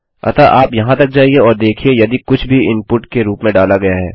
अतः आप यहाँ तक जाइये और देखिये यदि कुछ भी इनपुट के रूप में डाला गया है